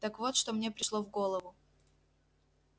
так вот что мне пришло в голову